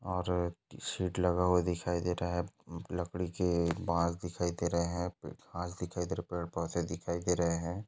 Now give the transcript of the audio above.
और सीट लगा हुवा दिखाई दे रहा है लकड़ी के माल दिखा दे रहा है माल दिखाई दे रहा है पेड़ पौधे दिखाई दे रहे है।